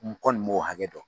N kɔni m'o hakɛ dɔn